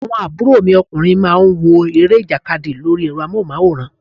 Àwọn àbúrò mi ọkùnrin má ń wo eré ìjàkadì lórí ẹ̀rọ amóhùn máwòrán